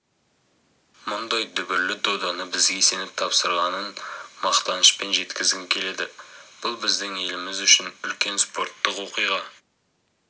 мұндай дүбірлі доданы бізге сеніп тапсырғанын мақтанышпен жеткізгім келеді бұл біздің еліміз үшін үлкен спорттық оқиға